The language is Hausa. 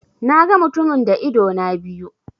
Na ga mutumin da idona biyu.